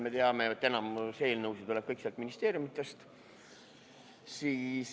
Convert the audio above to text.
Me teame, et enamik eelnõusid tuleb ministeeriumidest.